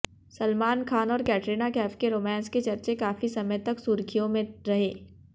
सलमान खान और कैटरीना कैफ के रोमांस के चर्चे काफी समय तक सुर्खियों में रहे